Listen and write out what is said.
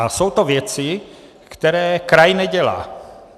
A jsou to věci, které kraj nedělá.